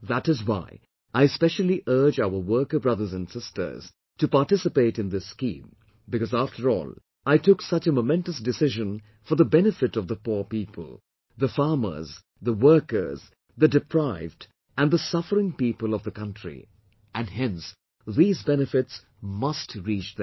That is why, I specially urge our worker brothers and sisters to participate in this scheme because after all I took such a momentous decision for the benefit of the poor people, the farmers, the workers, the deprived and the suffering people of the country and, hence, these benefits must reach them